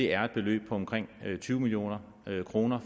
er et beløb på omkring tyve million kroner